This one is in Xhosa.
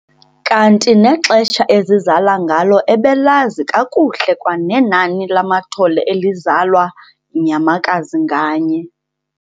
Kanti nexesha ezizala ngalo ebelazi kakuhle kwanenani lamathole elizalwa yinyamakazi nganye.